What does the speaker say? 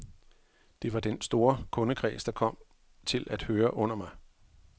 Det var den store kundekreds, der kom til at høre under mig.